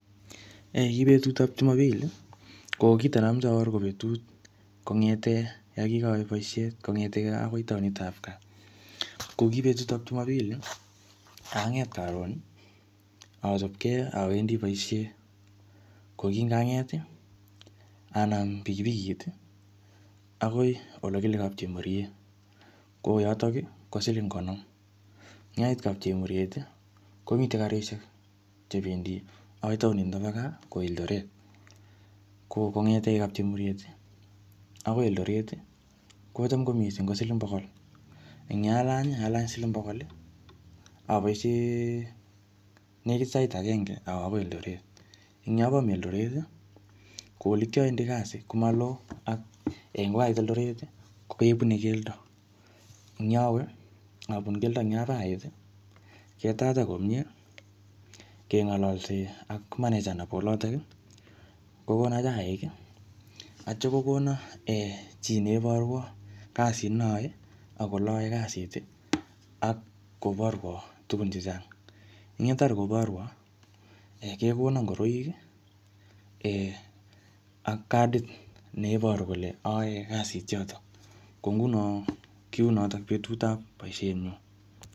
Ki betutab jumapili ko kito namoche abor ko betut kong'ete yo kikawe boishet kong'etegei kaa akoi taonitab kaa ko kibetutab jumapili ang'et karon achopkei awendi boishet ko kingang'et anaam pikipikit akoi ole kile kapchemoriet ko yotok ko siling' konom yait kapchemoriet komite karishek chebendi akoi taoni nito bo kaa ko Eldoret ko kong'ete kapchemoriet akoi Eldoret kocham komising' ko siling' bokol eng' yalany alany siling' bokol aboishen nekit sait agenge akoi Eldoret yo abami Eldoret ko ole kiawendi kasi komaloo ak eng' kukait Eldoret kebunei keldo enyawe abunu keldo eng' yoto ait ketacha komyee keng'olose ak manager nebo olotok kokono chaik otyo kokono chi neborwo kasit naoe ak ole ayoe kasit ak koborwo tuku chechang' yetar koborwo kekono ngoroik ak kadit neiboru kole aoe kadit yotok ko nguno kiu notok betutab boishenyu